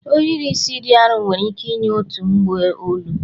ohiri isi dị arọ nwere ike inye otu mgbu olu